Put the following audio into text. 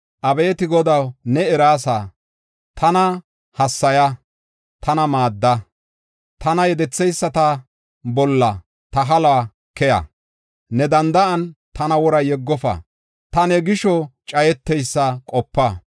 Abeeti Godaw, ne eraasa. Tana hassaya; tana maadda; tana yedetheyisata bolla ta haluwa keya. Ne danda7an tana wora yeggofa. Ta ne gisho cayeteysa qopa.